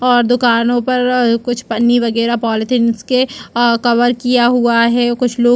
और दुकानों पर कुछ पानी वगैरह पॉलिथीन के अअअ कवर किया हुआ है और कुछ लोग--